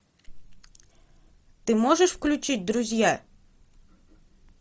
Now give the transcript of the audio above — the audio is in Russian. ты можешь включить друзья